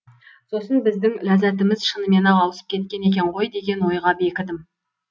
сосын біздің ләззатіміз шынымен ақ ауысып кеткен екен ғой деген ойға бекідім